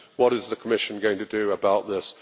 What is the Commission going to do about this?